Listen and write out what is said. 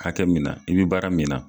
Hakɛ mina i bɛ baara mina.